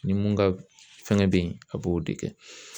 Ni mun ka fɛngɛ bɛ yen a b'o de kɛ.